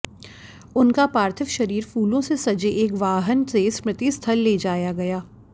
उनका पार्थिव शरीर फूलों से सजे एक वाहन से स्मृति स्थल ले जाया गया